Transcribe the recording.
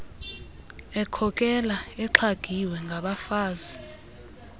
ekhokela exhagiwe ngabafazi